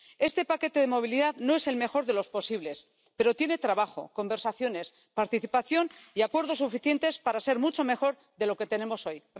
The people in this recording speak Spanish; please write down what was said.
Este paquete de movilidad no es el mejor de los posibles, pero tiene trabajo, conversaciones, participación y acuerdos suficientes para ser mucho mejor de lo que tenemos hoy.